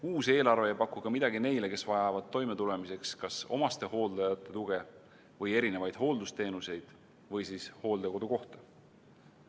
Uus eelarve ei paku ka midagi neile, kes vajavad toimetulemiseks kas omastehooldajate tuge või erinevaid hooldusteenuseid või siis hooldekodukohta.